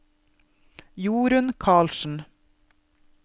Jorun Carlsen